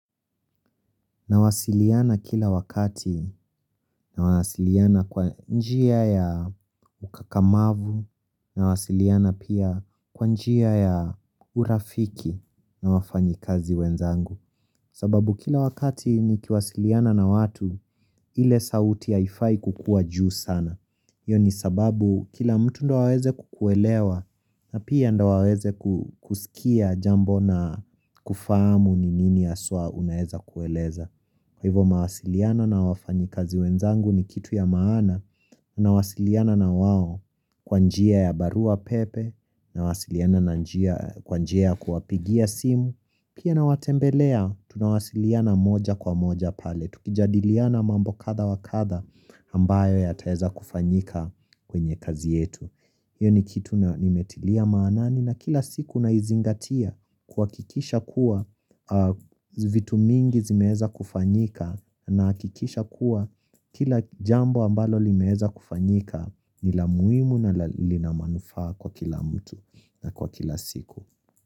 Nawasiliana kila wakati. Nawasiliana kwa njia ya ukakamavu. Nawasiliana pia kwa njia ya urafiki na wafanyi kazi wenzangu. Sababu kila wakati nikiwasiliana na watu ile sauti haifai kukua juu sana. Iyo ni sababu kila mtu ndo aweze kukuelewa na pia ndo waweze kusikia jambo na kufahamu ni nini aswa unaeza kueleza. Kwa hivo mawasiliano na wafanyi kazi wenzangu ni kitu ya maana, nawasiliana na wao kwanjia ya barua pepe, na wasiliana na kwanjia ya kuwapigia simu, pia nawatembelea tunawasiliana moja kwa moja pale, tukijadiliana mambo katha wakatha ambayo yataeza kufanyika kwenye kazi yetu. Iyo ni kitu nimetilia maanani na kila siku naizingatia kwakikisha kuwa vitu mingi zimeza kufanyika nakikisha kuwa kila jambo ambalo limeza kufanyika nila muimu na linamanufaa kwa kila mtu na kwa kila siku.